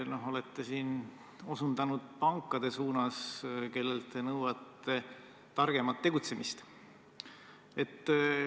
Ja siis te olete osutanud pankade suunas, kellelt nõuate targemat tegutsemist.